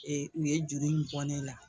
Ee u ye juru in bɔ ne la